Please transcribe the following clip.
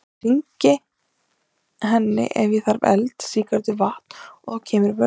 Ég hringi henni ef ég þarf eld, sígarettu, vatn. og þá kemur vörðurinn.